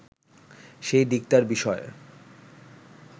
সেই দিকটার বিষয়ে